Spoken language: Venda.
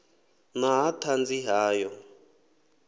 na ha ṱhanzi ha ḓo